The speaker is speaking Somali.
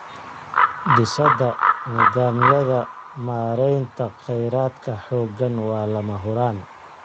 Dhisidda nidaamyada maareynta kheyraadka xooggan waa lama huraan.